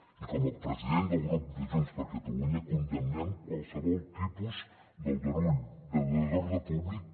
i com a president del grup de junts per catalunya condemnem qualsevol tipus d’aldarull de desordre públic